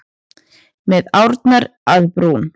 Með árnar að brún.